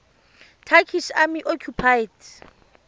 turkish army occupied